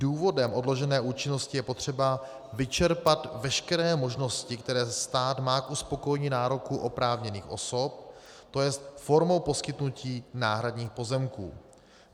Důvodem odložené účinnosti je potřeba vyčerpat veškeré možnosti, které stát má k uspokojení nároků oprávněných osob, to jest formou poskytnutí náhradních pozemků.